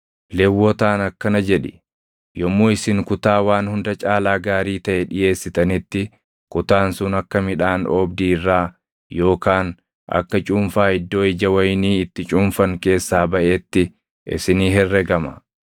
“Lewwotaan akkana jedhi: ‘Yommuu isin kutaa waan hunda caalaa gaarii taʼe dhiʼeessitanitti kutaan sun akka midhaan oobdii irraa yookaan akka cuunfaa iddoo ija wayinii itti cuunfan keessaa baʼeetti isinii herregama.